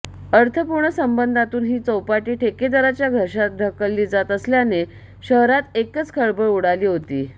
अर्थपूर्ण संबंधातून ही चौपाटी ठेकेदाराच्या घशात ढकलली जात असल्याने शहरात एकच खळबळ उडाली होती